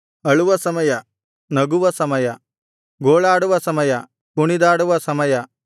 ಅಳುವ ಸಮಯ ನಗುವ ಸಮಯ ಗೋಳಾಡುವ ಸಮಯ ಕುಣಿದಾಡುವ ಸಮಯ